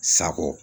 Sago